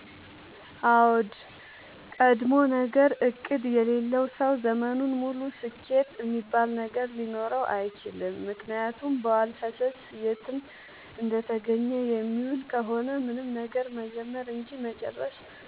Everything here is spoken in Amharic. አዎድ ቀድሞነገር እቅድ የሌለው ሰው ዘመኑን ሙሉ ስኬት እሚባል ነገር ሊኖረው አይችልም። ምክንያቱም በዋልፈሰስ የትም እንደተገኘ የሚውል ከሆነ ምንም ነገር መጀመር እንጂ መጨረስ